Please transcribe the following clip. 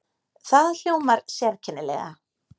Það hljómar sérkennilega.